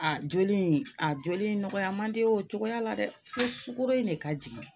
A joli in a joli in nɔgɔya man di o cogoya la dɛ se sukoro in de ka jigin